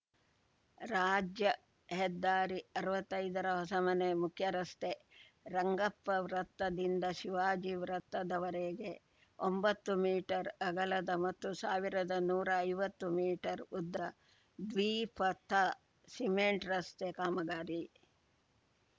ರಾಜ್ಯ ಹೆದ್ದಾರಿ ಅರ್ವತ್ತೈದರ ಹೊಸಮನೆ ಮುಖ್ಯರಸ್ತೆ ರಂಗಪ್ಪ ವೃತ್ತದಿಂದ ಶಿವಾಜಿ ವೃತ್ತದವರೆಗೆ ಒಂಬತ್ತು ಮೀಟರ್‌ ಅಗಲದ ಮತ್ತು ಸಾವಿರದ ನೂರಾ ಐವತ್ತು ಮೀಟರ್‌ ಉದ್ದ ದ್ವಿಪಥ ಸಿಮೆಂಟ್‌ ರಸ್ತೆ ಕಾಮಗಾರಿ